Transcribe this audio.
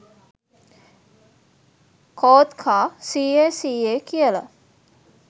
කෝත් කා "සීයේ! සීයේ!" කියලා